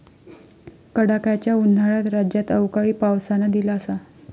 कडाक्याच्या उन्हाळ्यात राज्यात अवकाळी पावसानं दिलासा